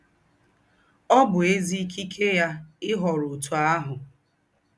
Ọ́ bụ́ èzí̄ ìkíkẹ̀ yá íhọ́rọ̀ ǒtụ́ àhụ́.